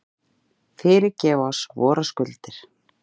Fyrirgef oss vorar skuldir,